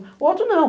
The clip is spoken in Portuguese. O outro não.